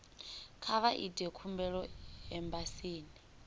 kha vha ite khumbelo embasini